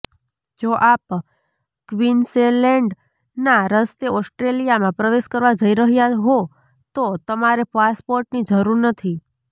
જો આપ ક્વીન્સલૅન્ડના રસ્તે ઑસ્ટ્રેલિયામાં પ્રવેશ કરવા જઈ રહ્યા હો તો તમારે પાસપોર્ટની જરૂર નથી